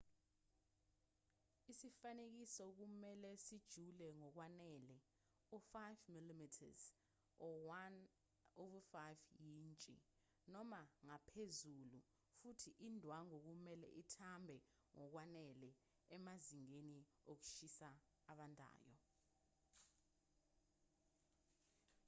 isifanekiso kumelwe sijule ngokwanele u-5 mm 1/5 yintshi noma ngaphezulu futhi indwangu kumelwe ithambe ngokwanele emazingeni okushisa abandayo